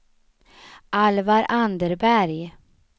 Alvar Anderberg